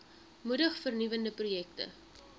moedig vernuwende projekte